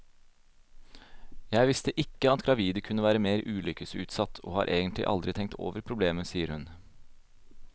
Jeg visste ikke at gravide kunne være mer ulykkesutsatt, og har egentlig aldri tenkt over problemet, sier hun.